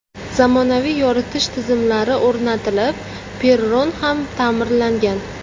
Zamonaviy yoritish tizimlari o‘rnatilib, perron ham ta’mirlangan.